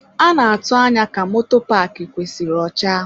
A na-atụ anya ka moto paaki kwesịrị ọcha.